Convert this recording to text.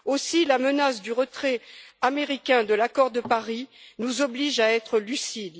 Aussi, la menace du retrait américain de l'accord de Paris nous oblige à être lucides.